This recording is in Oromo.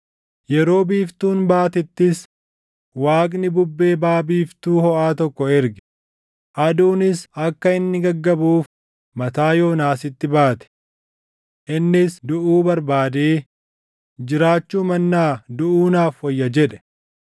Yeroo biiftuun baatettis Waaqni bubbee baʼa biiftuu hoʼaa tokko erge; aduunis akka inni gaggabuuf mataa Yoonaasitti baate. Innis duʼuu barbaadee, “Jiraachuu mannaa duʼuu naaf wayya” jedhe.